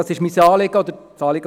Das ist das Anliegen der EVP.